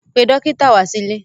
Pe dọ́kítà wá sílé!